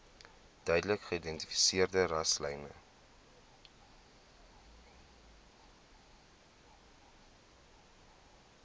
duidelik geïdentifiseerde rasselyne